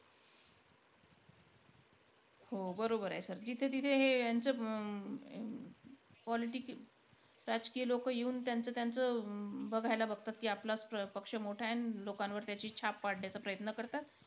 हो बरोबर आहे sir जिथे-तिथे हे यांचं हम्म politics राजकीय लोक येऊन त्यांचं-त्यांचं बघायला बघतात की, आपलाचं पक्ष मोठायं आणि लोकांवर त्यांची छाप पाडण्याचं प्रयत्न करतात.